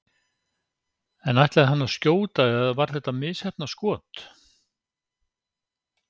En ætlaði hann að skjóta eða var þetta misheppnað skot?